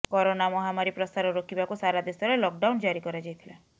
corona ମହାମାରୀ ପ୍ରସାର ରୋକିବାକୁ ସାରା ଦେଶରେ ଲକଡାଉନ୍ ଜାରି କରାଯାଇଥିଲା